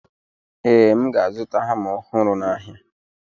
Ee, M ga-azụta hama ọhụrụ n'ahịa.